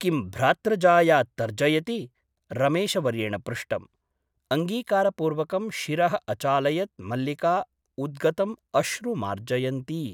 किं भ्रातृजाया तर्जयति ? रमेशवर्येण पृष्टम् । अङ्गीकारपूर्वकं शिरः अचालयत् मल्लिका उद्गतम् अश्रु मार्जयन्ती ।